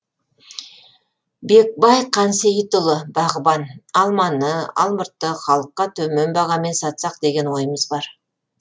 бекбай қансейітұлы бағбан алманы алмұртты халыққа төмен бағамен сатсақ деген ойымыз бар